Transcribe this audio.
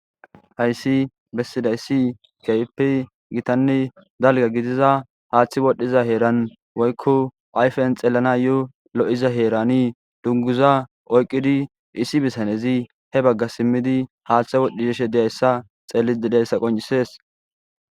hayssi bessidayssi ke'ppe giitanne dalgga giidiza haaththi wodhdhiza heeran woykko ayfen xeelanayoo lo'iza heerani dunguza oyqqidi issi bitanezi he bagga siimiidi haaththe wodhidi yishe dizayssa xellidi de'zayssa qoncisees